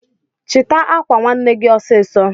chita akwa nwanne gi osiso